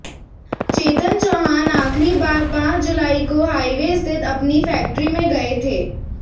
चेतन चौहान आखिरी बार पांच जुलाई को हाईवे स्थित अपनी फैक्ट्री में गए थे